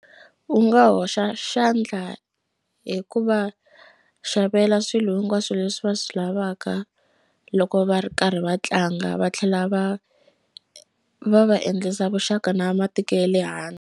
U nga hoxa xandla hi ku va xavela swilo hinkwaswo leswi va swi lavaka loko va ri karhi va tlanga va tlhela va va va endlisa vuxaka na matiko ya le handle.